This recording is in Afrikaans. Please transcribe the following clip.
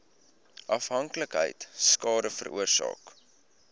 afhanklikheid skade veroorsaak